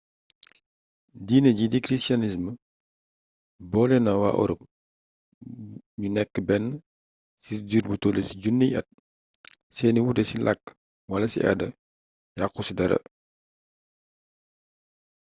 diine jii di christianisme boole na waa europe ñu nekk benn ci diir bu tollu ci junniy at seeni wuute ci làkk wala ci aada yàqu ci dara